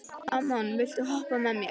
Amon, viltu hoppa með mér?